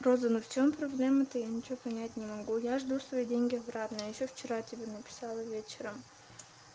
розанов в чём проблема-то я ничего понять не могу я жду свои деньги обратно ещё вчера тебе написала вечером